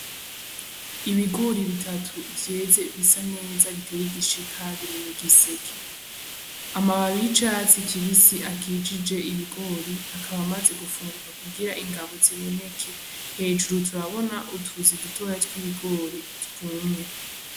Ibigori bitatu vyeze bisa neza biteye igishika biri mugiseke. Amababi yicatsi kibisi akikije ibigori akaba amaze gufunguka kugira ingabo ziboneke hejuru turabona utuzi dutoya twibigori twumye.